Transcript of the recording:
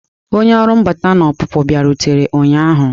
Onye ọrụ mbata na ọpụpụ bịarutere ụnyahụ.